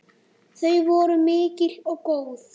Þau voru mikil og góð.